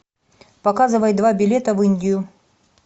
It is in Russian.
показывай два билета в индию